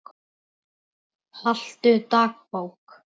Haltu dagbók.